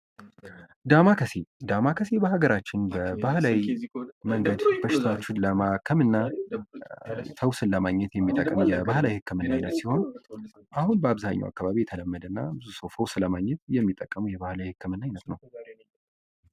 ዳማከሴ ዳማከሴ በሀገራችን በባህላዊ መንገድ በሽታዎችን ፈውስን ለማግኘት የሚጠቅም የባህላዊ ህክምና አይነት ሲሆን አሁን በአብዛኛው አካባቢ የተለመደ እና ፈውስ ለማግኘት የሚጠቀሙት የባህላዊ ህክምና አይነት ነው።